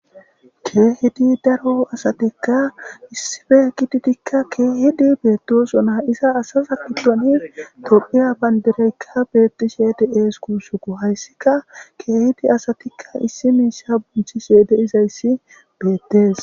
keehidi daro asatikka issife gididikka keehidi beettosuna isa asasa gidoni to7iya bandireykka beettishe di7ees kuusuku hayssika keehidi asatikka issi miisa bunthi syeede izayssi beettes